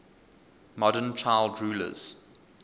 modern child rulers